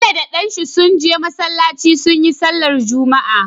Bello da dan shi sun je masalaci suyi sallar juma'a